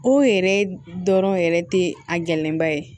O yɛrɛ dɔrɔn yɛrɛ tɛ a gɛlɛnba ye